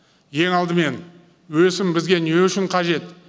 ең алдымен өсім бізге не үшін қажет